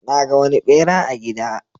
Na ga wani ɓera a gida.